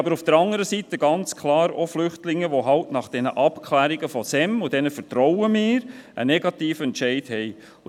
Auf der anderen Seite gibt es ganz klar Flüchtlinge, die eben nach den Abklärungen des SEM – und diesen vertrauen wir – einen negativen Entscheid erhalten.